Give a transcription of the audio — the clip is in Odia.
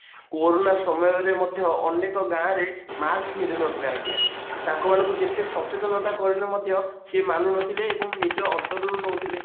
କୋରୋନା ସମୟରେ ମଧ୍ୟ ଅନେକ ଗାଁ ରେ mask ପିନ୍ଧୁନଥିଲେ ଆଜ୍ଞା ତାଙ୍କମାନଙ୍କୁ ଯେତେ ସଚେତନ କରେଉଲେ ମଧ୍ୟ ସେ ମାନୁନଥିଲେ ଏବଂ ନିଜ ଅନ୍ତର ରୁ ନଉଥିଲେ